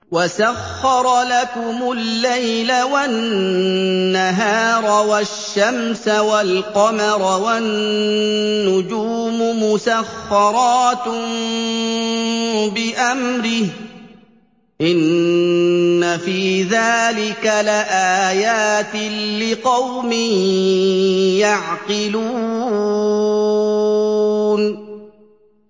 وَسَخَّرَ لَكُمُ اللَّيْلَ وَالنَّهَارَ وَالشَّمْسَ وَالْقَمَرَ ۖ وَالنُّجُومُ مُسَخَّرَاتٌ بِأَمْرِهِ ۗ إِنَّ فِي ذَٰلِكَ لَآيَاتٍ لِّقَوْمٍ يَعْقِلُونَ